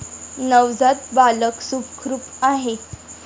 नवजात बालक सुखरूप आहे.